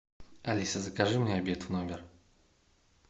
алиса закажи мне обед в номер